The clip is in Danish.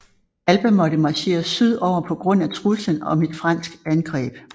Alba måtte marchere sydover på grund af truslen om et fransk angreb